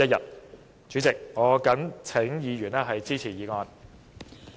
代理主席，我謹請議員支持議案。